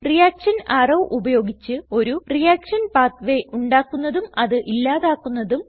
reaction arrow ഉപയോഗിച്ച് ഒരു reaction pathway ഉണ്ടാക്കുന്നതും അത് ഇല്ലാതാക്കുന്നതും